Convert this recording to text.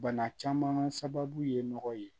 Bana caman sababu ye nɔgɔ ye